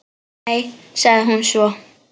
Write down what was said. Nei, sagði hún svo.